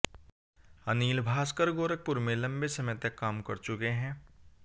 अनिल भास्कर गोरखपुर में लंबे समय तक काम कर चुके हैं